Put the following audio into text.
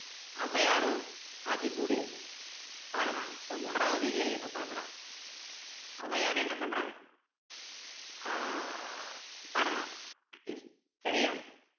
ஔவையாரும் ஆத்திச்சூடி பாடுனாங்க so மூன்றாவது இயல் இப்போ பாக்குறோம் ஔவையாரு என்ன பண்றாங்க ஆஹ் பாடுனாங்க சரியா